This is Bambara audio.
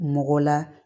Mɔgɔ la